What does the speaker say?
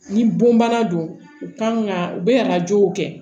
Ni bon bana don u kan ka u bɛ arajow kɛ